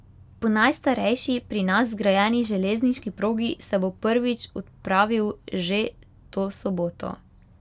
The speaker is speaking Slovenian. Po najstarejši pri nas zgrajeni železniški progi se bo prvič odpravil že to soboto.